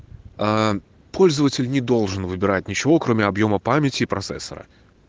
пользователь не должен выбирать ничего кроме объёма памяти и процессора